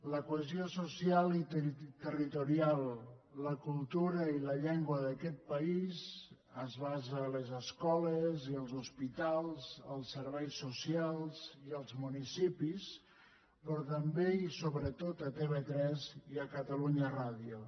la cohesió social i territorial la cultura i la llengua d’aquest país es basa a les escoles i als hospitals als serveis socials i als municipis però també i sobretot a tv3 i a catalunya ràdio